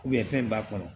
fɛn in b'a kɔnɔ